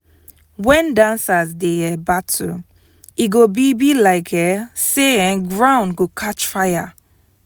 wen dancers dey um battle e go be be like um say um ground go catch fire.